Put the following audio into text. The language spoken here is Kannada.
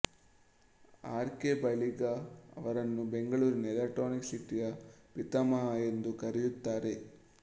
ಆರ್ ಕೆ ಬಳಿಗಾ ಅವರನ್ನು ಬೆಂಗಳೂರಿನ ಎಲೆಕ್ಟ್ರಾನಿಕ್ ಸಿಟಿಯ ಪಿತಾಮಹ ಎಂದು ಕರೆಯುತ್ತಾರೆ